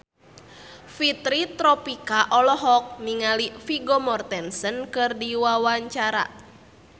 Fitri Tropika olohok ningali Vigo Mortensen keur diwawancara